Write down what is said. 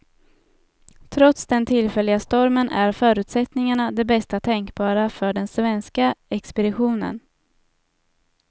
Trots den tillfälliga stormen är förutsättningarna de bästa tänkbara för den svenska expeditionen.